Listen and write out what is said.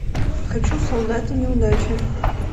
хочу солдаты неудачи